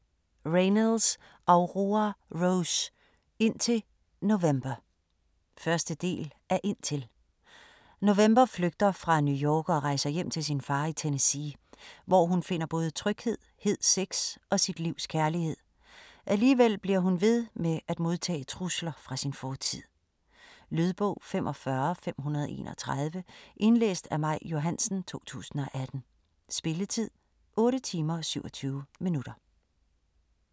Reynolds, Aurora Rose: Indtil November 1. del af Indtil. November flygter fra New York og rejser hjem til sin far i Tennessee, hvor hun finder både tryghed, hed sex og sit livs kærlighed. Alligevel bliver hun ved med at modtage trusler fra sin fortid. Lydbog 45531 Indlæst af Maj Johansen, 2018. Spilletid: 8 timer, 27 minutter.